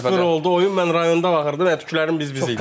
oldu oyun, mən rayonda baxırdım, tükərimiz biz-biz idi.